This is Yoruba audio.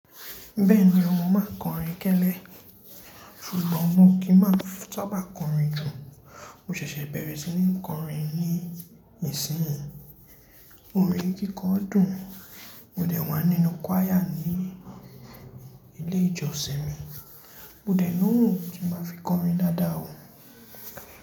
Bẹ́ẹ̀ni ọmọ máa ń kọrin kẹ́lẹ́, ṣùgbọ́n mò kí máa ń bá kọrin jù. Mo ṣẹ̀ṣẹ̀ bẹ̀rẹ̀ sí ní kọrin ní ìsìnyí. Orin kíkọ dùn, mo dẹ̀ wá nínú qàíyà ní ilé ìjọsìn mi. Mo dẹ̀ ní ohun kí máa fi kọrin dáadáa o.